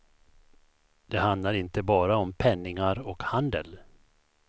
Det handlar inte bara om penningar och handel.